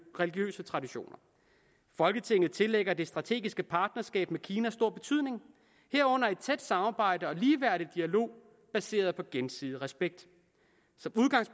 religiøse traditioner folketinget tillægger det strategiske partnerskab med kina stor betydning herunder et tæt samarbejde og ligeværdig dialog baseret på gensidig respekt